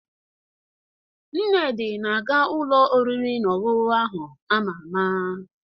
Nnedi na-aga ụlọ oriri na ọṅụṅụ ahụ ama ama.